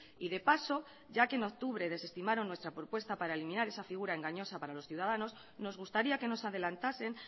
y de paso ya que en octubre desestimaron nuestra propuesta para eliminar esa figura engañosa para los ciudadanos nos gustaría que nos adelantasen